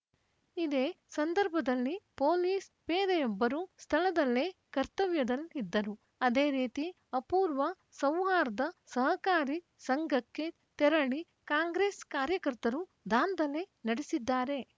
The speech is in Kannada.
ಇದೇ ಸಂದರ್ಭದಲ್ಲಿ ಪೊಲೀಸ್‌ ಪೇದೆಯೊಬ್ಬರು ಸ್ಥಳದಲ್ಲೇ ಕರ್ತವ್ಯದಲ್ಲಿದ್ದರು ಅದೇ ರೀತಿ ಅಪೂರ್ವ ಸೌಹಾರ್ಧ ಸಹಕಾರಿ ಸಂಘಕ್ಕೆ ತೆರಳಿ ಕಾಂಗ್ರೆಸ್‌ ಕಾರ್ಯಕರ್ತರು ದಾಂಧಲೆ ನಡೆಸಿದ್ದಾರೆ